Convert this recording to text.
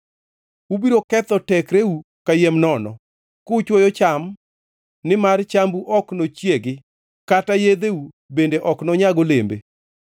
Ubiro ketho tekreu kayiem nono, kuchwoyo cham nimar chambu ok nochiegi, kata yedheu bende ok nonyag olembe.